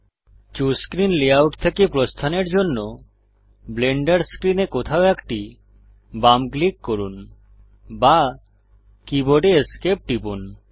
choose screen layout থেকে প্রস্থানের জন্য ব্লেন্ডার স্ক্রিনে কোথাও একটি বাম ক্লিক করুন বা কীবোর্ডে Esc টিপুন